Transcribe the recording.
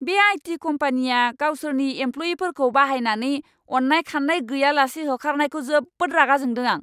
बे आइ.टि.कम्पानिया गावसोरनि एमप्ल'यिफोरखौ बाहायनानै अन्नाय खान्नाय गैयालासे होखारनायखौ जोबोद रागाजोंदों आं!